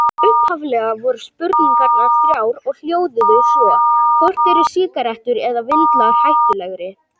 Upphaflega voru spurningarnar þrjár og hljóðuðu svo: Hvort eru sígarettur eða vindlar hættulegri?